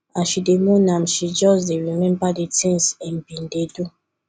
as she dey mourn am she just dey remember di tins im bin dey do